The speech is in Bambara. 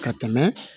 Ka tɛmɛ